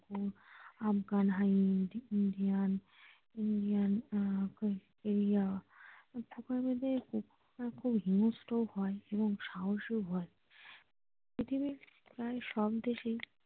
afganindian আহ australia এই প্রকারের কুকুর রা খুব হিঙ্গস্র হয় এবং সাহসীও হয় পৃথিবীর প্রায় সব দেশেই।